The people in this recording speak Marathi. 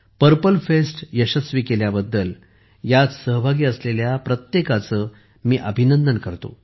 पर्पल फेस्ट यशस्वी केल्याबद्दलह्यात सहभागी असलेल्या प्रत्येकाचे मी अभिनंदन करतो